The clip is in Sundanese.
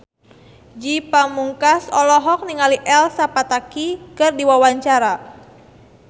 Ge Pamungkas olohok ningali Elsa Pataky keur diwawancara